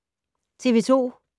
TV 2